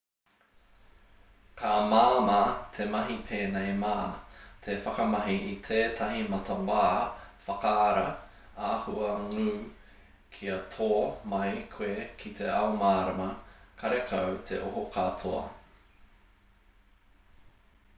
ka māmā te mahi pēnei mā te whakamahi i tētahi matawā whakaara āhua ngū kia tō mai koe ki te ao mārama karekau te oho katoa